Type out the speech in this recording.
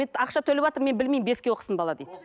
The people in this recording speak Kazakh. ақша төлеватырмын мен білмеймін беске оқысын бала дейді